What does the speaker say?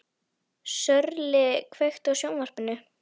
Sörli, kveiktu á sjónvarpinu.